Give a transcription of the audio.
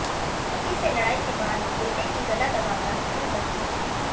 पति से लड़ाई के बाद बेटे की गला दबाकर हत्या कर दी